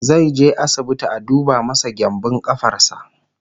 zaije asibiti a duba masa gyanbun ƙafarsa